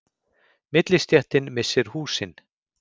Millistéttin missir húsin